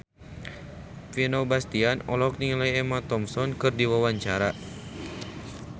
Vino Bastian olohok ningali Emma Thompson keur diwawancara